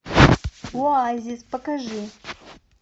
оазис покажи